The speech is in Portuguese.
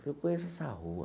Falei, eu conheço essa rua.